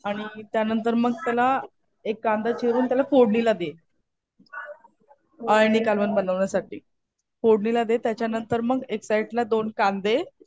आणि त्या नंतर मग त्याला एक कांदा चिरून त्याला फोडणीला दे. अळणी कालवण बनवण्यासाठी. फोडणीला दे. त्याच्यानंतर मग एक साईडला दोन कांदे